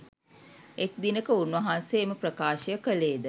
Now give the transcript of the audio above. එක් දිනක උන්වහන්සේ එම ප්‍රකාශය කළේද